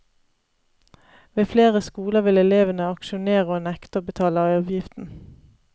Ved flere skoler vil elevene aksjonere og nekte å betale avgiften.